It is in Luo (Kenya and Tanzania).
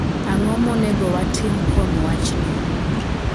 Ang'o monego watim kuom wachni?